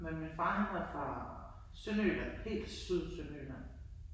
Men min far han var fra Sønderjylland. Helt syd Sønderjylland